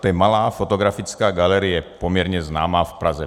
To je malá fotografická galerie, poměrně známá v Praze.